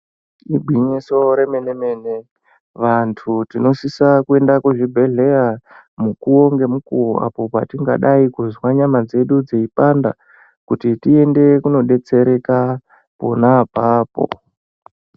Ingwinyiso remenemene vantu tinosise kuenda kuzvibhedhleya mukuwo ngemukuwo apo patingadai kuzwa nyama dzedu dzeipanda kuti tiende kunobetsereka pona apapo